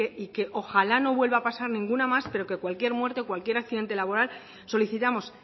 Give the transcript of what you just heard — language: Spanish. y que ojalá no vuelva a pasar ninguna más pero que cualquier muerte o cualquier accidente laboral solicitamos